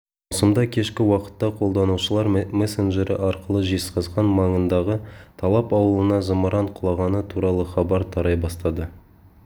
маусымда кешкі уақытта қолданушылар мессенджері арқылы жезқазған маңындағы талап ауылына зымыран құлағаны туралы хабар тарай бастады